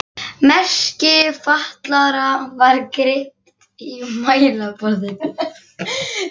Merki fatlaðra var greypt í mælaborðið.